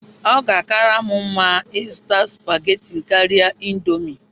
Ọ ga-akara m mma ịzụta spaghetti karịa indomie.